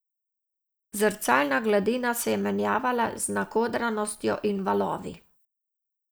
Zrcalna gladina se je menjavala z nakodranostjo in valovi.